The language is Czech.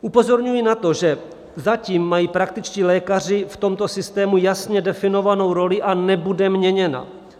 Upozorňuji na to, že zatím mají praktičtí lékaři v tomto systému jasně definovanou roli a nebude měněna.